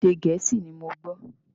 Èdè Gẹ̀ẹ́sì ni mo gbọ́.